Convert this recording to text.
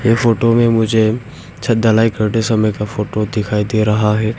ये फोटो में मुझे छत ढलाई करते समय का फोटो दिखाई दे रहा है।